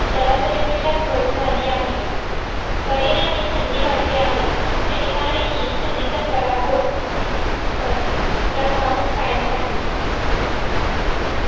सरासरी पेक्षा घेत झाली आहे परिणामात थंडी वाढली आहे शनिवारी ही थंडीचा पराभव sorry प्रभाव कायम राहील